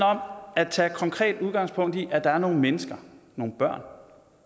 om at tage konkret udgangspunkt i at der er nogle mennesker nogle børn